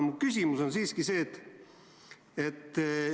Mu küsimus on nüüd selline.